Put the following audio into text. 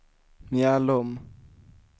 Mjällom